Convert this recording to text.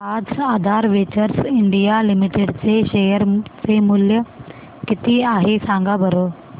आज Aadhaar ventures India limited चे share चे मूल्य किती आहे सांगा बरं